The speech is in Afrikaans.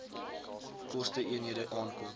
koste eenhede aankoop